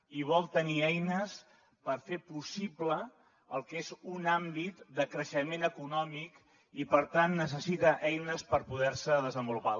i vol tenir eines per fer possible el que és un àmbit de creixement econòmic i per tant necessita eines per poder se desenvolupar